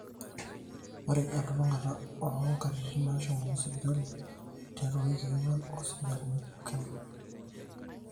ore elulungata oonkatitin naashomoki sipitali tiatwa iwikii ong'wan oosipitalini pooki